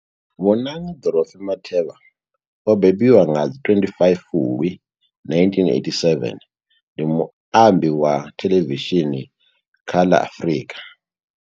Bonang Dorothy Matheba o bebiwa nga ḽa 25 Fulwi 1987, ndi muambi wa theḽevishini kha ḽa Afrika.